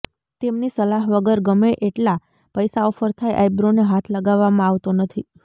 તેમની સલાહ વગર ગમે એટલા પૈસા ઑફર થાય આઇબ્રોને હાથ લગાવવામાં આવતો નથી